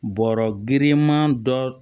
Bɔrɔ girinman dɔ